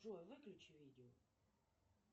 джой выключи видео